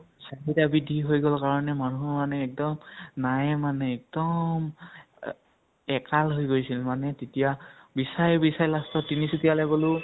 চাহিদা বৄদ্ধি হৈ গʼল কাৰণে, মানুহ মানে একদম নাইয়ে মানে একদম আ একাল হৈ গৈছিল মানে তেতিয়া বিচাৰি বিচাৰি last ত তিনিচুকীয়া লৈ গʼলো